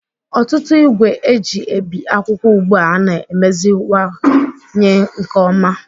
Ọtụtụ igwe eji ebi akwụkwọ ugbu a na-emeziwanyewanye nke ọma